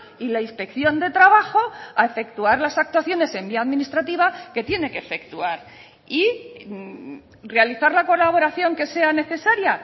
y la inspección de trabajo a efectuar las actuaciones en vía administrativa que tiene que efectuar y realizar la colaboración que sea necesaria